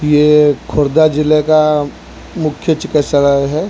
ये खुर्दा जिले का मुख्य चिकित्सालय है।